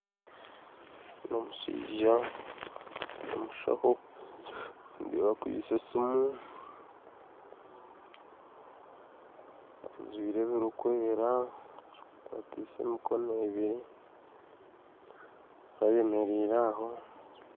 N'omushaija nomushaho nindeeba akwitse esimu ajwaire ebirikwera akwatiise emokono ebiri ayemereire aho